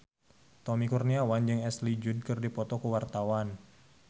Tommy Kurniawan jeung Ashley Judd keur dipoto ku wartawan